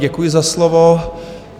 Děkuji za slovo.